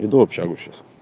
иду в общагу сейчас